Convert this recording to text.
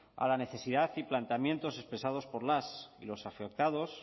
a la necesidad y planteamientos expresados por las y los afectados